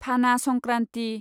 फाना संक्रान्ति